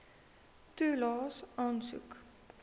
toelaes aansoek